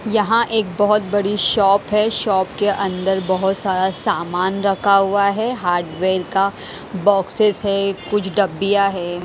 यहाँ एक बहुत बड़ी शॉप है शॉप के अंदर बहुत सारा सामान रखा हुआ है हार्डवेयर का बॉक्सेस है कुछ डब्बियाँ है।